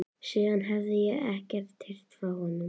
Síðan hefi ég ekkert heyrt frá honum.